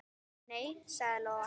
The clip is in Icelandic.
Nei, sagði Lóa.